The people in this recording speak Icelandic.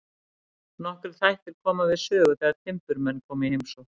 Nokkrir þættir koma við sögu þegar timburmenn koma í heimsókn.